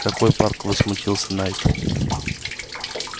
какой парк возмутился найд